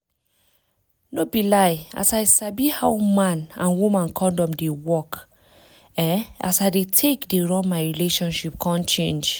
no be lie as i sabi how man and woman condom dey work[um]as i dey take dey run my relationship come change